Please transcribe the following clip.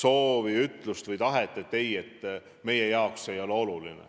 soovi sellest eesmärgist loobuda, sest see pole nagu oluline.